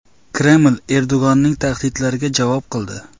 Kreml Erdo‘g‘onning tahdidlariga javob qildi.